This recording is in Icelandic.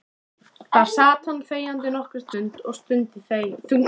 Þar sat hann þegjandi nokkra stund og stundi þungan.